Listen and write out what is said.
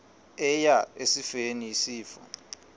eya esifeni isifo